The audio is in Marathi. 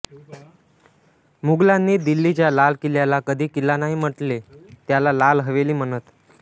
मुगलांनी दिल्ली च्या लाल किल्ल्याला कधी किल्ला नाही म्हणटले त्याला लाल हवेली म्हणत